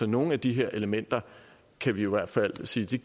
nogle af de her elementer kan vi jo i hvert fald sige